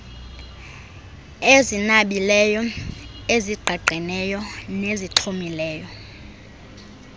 ezinabileyo ezigqagqeneyo nezixhomileyo